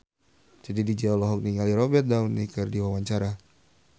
Titi DJ olohok ningali Robert Downey keur diwawancara